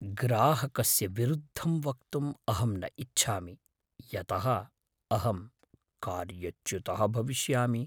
ग्राहकस्य विरुद्धं वक्तुम् अहं न इच्छामि यतः अहं कार्यच्युतः भविष्यामि।